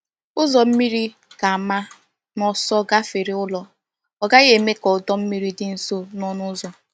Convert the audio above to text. Ụzọ mmiri ga-ama n’ọsọ gafere ụlọ, ọ gaghị eme ka ọdọ mmiri dị nso na ọnụ ụzọ.